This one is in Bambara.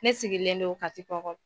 Ne sigilen don kati kɔkɔ.